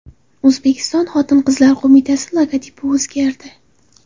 O‘zbekiston Xotin-qizlar qo‘mitasi logotipi o‘zgardi.